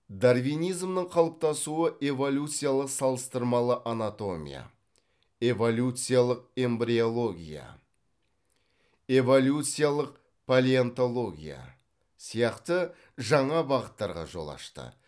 дарвинизмнің қалыптасуы эволюциялық салыстырмалы анатомия эволюциялық эмбриология эволюциялық палеонтология сияқты жаңа бағыттарға жол ашты